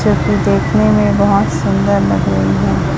चित्र देखने में बहुत सुंदर लग रही हैं।